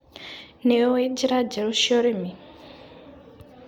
Nĩũĩ njĩra njerũ cia ũrĩmi.